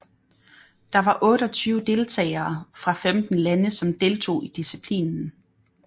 Der var otteogtyve deltagere fra femten lande som deltog i disciplinen